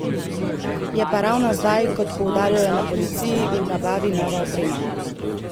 Je pa ravno zdaj, kot poudarjajo na policiji, v nabavi nova oprema.